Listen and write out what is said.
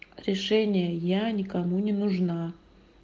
решение я никому не нужна